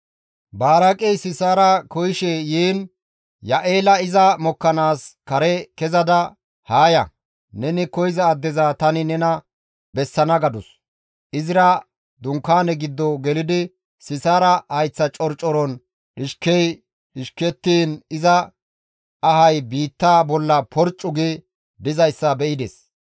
Baraaqey Sisaara koyishe yiin Ya7eele iza mokkanaas kare kezada, «Haa ya; neni koyza addeza tani nena bessana» gadus; izira dunkaane giddo gelidi Sisaara hayththa corcoron dhishkey dhishekkettiin iza ahay biitta bolla porccu gi dizayssa be7ides.